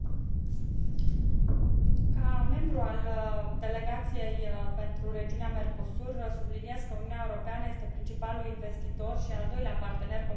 Ca membru al Delegației pentru regiunea Mercosur, subliniez că Uniunea Europeană este principalul investitor și al doilea partener comercial al Americii Centrale.